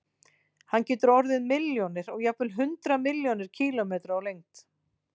Hann getur orðið milljónir og jafnvel hundruð milljóna kílómetra á lengd.